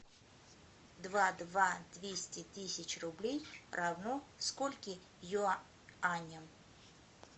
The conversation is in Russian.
два два двести тысяч рублей равно скольки юаням